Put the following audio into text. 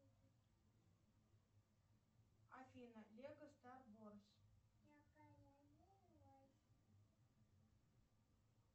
афина лего стар ворс